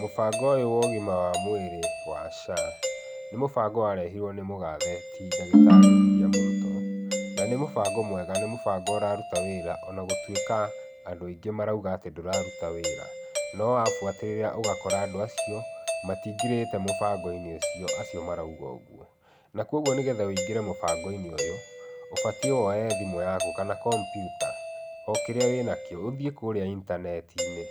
Mũbango ũyũ wa ũgima wa mwĩrĩ wa SHA, nĩ mũbango warehirwo nĩ mũgathe ti ndagĩtarĩ William Ruto, na nĩ mũbango mwega nĩ mũbango ũraruta wĩra ona gũtuĩka andũ aingĩ marauga atĩ ndũraruta wĩra. No wabuatĩrĩra, ũgakora andũ acio matingĩrĩte mũbango-inĩ ũcio acio marauga ũguo. Na koguo nĩgetha ũingĩre mũbango-inĩ ũyũ, ũbatiĩ woye thimũ yaku kana kompiuta, o kĩrĩa wĩnakĩo, ũthiĩ kũrĩa intaneti-inĩ,